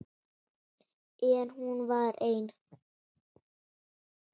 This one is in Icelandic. En hún var ein.